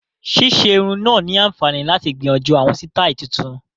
Ṣíṣe irun náà ni àǹfààní láti gbìyànjú àwọn sítáì tuntun